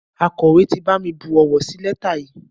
Akọ̀wé ti bami bu owó sí lẹ́tà yìí.